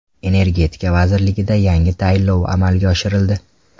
Energetika vazirligida yangi tayinlov amalga oshirildi.